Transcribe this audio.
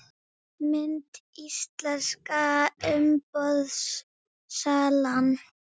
Mynd: Íslenska umboðssalan